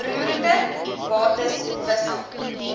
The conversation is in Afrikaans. roerende bates wissel